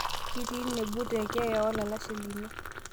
kitii nebu tekeeya ololashe lino